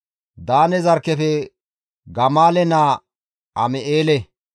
Daane zarkkefe Gamaale naa Am7eele,